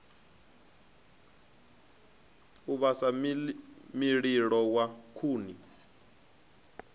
u vhasa mililo wa khuni